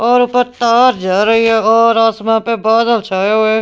और ऊपर तार जा रही है और आसमान पर बादल छए हुए है।